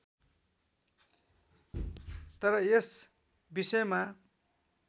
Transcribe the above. तर यस विषयमा